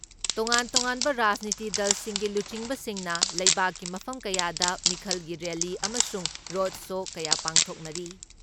ꯇꯣꯉꯥꯟ ꯇꯣꯉꯥꯟꯕ ꯔꯥꯖꯅꯤꯇꯤ ꯗꯜꯁꯤꯡꯒꯤ ꯂꯨꯆꯤꯡꯕꯁꯤꯡꯅ ꯂꯩꯕꯥꯛꯀꯤ ꯃꯐꯝ ꯀꯌꯥꯗ ꯃꯤꯈꯜꯒꯤ ꯔꯦꯜꯂꯤ ꯑꯃꯁꯨꯡ ꯔꯣꯠ ꯁꯣ ꯀꯌꯥ ꯄꯥꯡꯊꯣꯛꯔꯤ ꯫